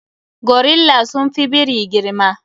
Gorilla sun fi biri girma.